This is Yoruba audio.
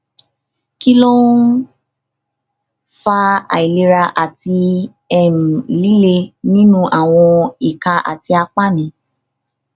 kí ló ń fa àìlera àti um lile nínú àwọn ìka àti apá mi